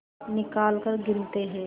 निकालकर गिनते हैं